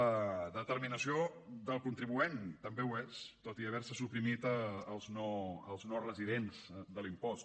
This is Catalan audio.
la determinació del contribuent també ho és tot i haver se suprimit els no residents de l’impost